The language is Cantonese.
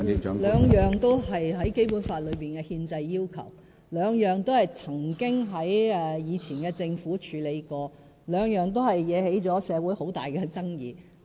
這兩項都是在《基本法》內列出的憲制要求，兩項都曾經在前任政府任內處理過，都引起社會很大爭議。